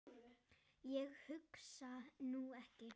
Ég hugsa nú ekki.